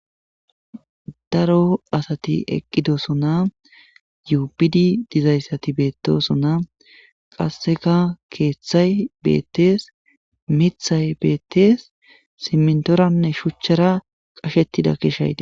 Daro asati eqqidossona yuubidi dizayssati bettossona qassekka keththay bettess miththay bettess simntoranne shuchchara qashshettidda keshshay de'ess.